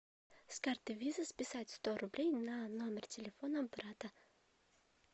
с карты виза списать сто рублей на номер телефона брата